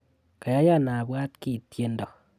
Kayayan abwat kiiy tyendo